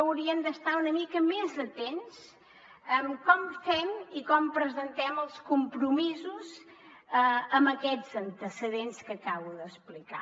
hauríem d’estar una mica més atents en com fem i com presentem els compromisos amb aquests antecedents que acabo d’explicar